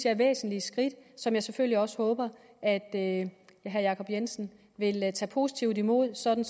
er væsentlige skridt som jeg selvfølgelig også håber at at herre jacob jensen vil tage positivt imod sådan